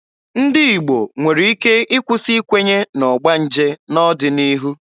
Ndị Igbo nwere ike ịkwụsị ikwenye na ọgbanje n'ọdịnihu.